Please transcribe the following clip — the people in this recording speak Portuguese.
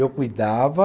Eu cuidava.